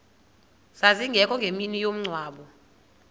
zazingekho ngemini yomngcwabo